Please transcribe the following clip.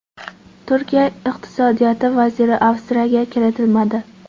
Turkiya iqtisodiyot vaziri Avstriyaga kiritilmadi.